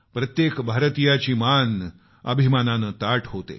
प्रत्येक भारतीयाची मान गर्वानं ताठ होते